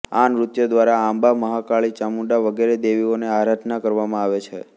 આ નૃત્ય દ્વારા અંબા મહાકાળી ચામુંડા વગેરે દેવીઓની આરાધના કરવામાં આવે છે